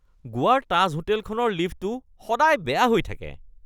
গোৱাৰ তাজ হোটেলখনৰ লিফ্টটো সদায় বেয়া হৈ থাকে।